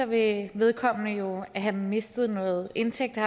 vil vedkommende jo have mistet noget indtægt og